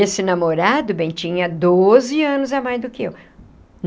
Esse namorado, bem, tinha doze anos a mais do que eu.